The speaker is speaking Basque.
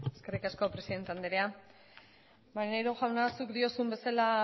eskerrik asko presidente andrea maneiro jauna zuk diozun bezala